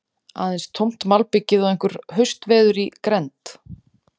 Aðeins tómt malbikið og einhver haustveður í grennd.